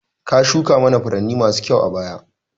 Ka shuka mana furanni masu kyau a baya